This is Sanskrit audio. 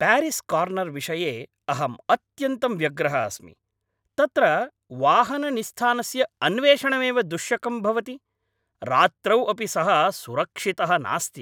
प्यारीस्कार्नर् विषये अहम् अत्यन्तं व्यग्रः अस्मि।,तत्र वाहननिस्थानस्य अन्वेषणमेव दुश्शकं भवति, रात्रौ अपि सः सुरक्षितः नास्ति।